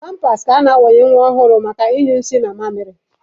Pampas maọbụ napkịn ka a na-awanye nwa ọhụrụ maka ịnyụ nsị na amịrị.